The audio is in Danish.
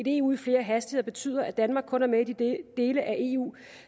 eu i flere hastigheder betyder at danmark kun er med i de dele af eu